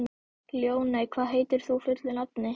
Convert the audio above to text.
Ljóney, hvað heitir þú fullu nafni?